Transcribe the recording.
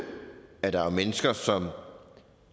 at der er mennesker som